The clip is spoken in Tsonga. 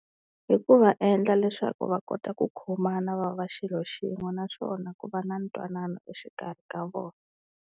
Hi ku va endla leswaku va kota ku khomana va va xilo xin'we naswona ku va na ntwanano exikarhi ka vona.